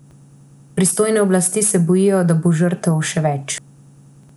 Pristojne oblasti se pa bojijo, da bo žrtev še več.